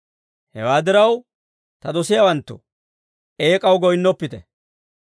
Hewaa diraw, ta dosiyaawanttoo, eek'aw goyinnoppite.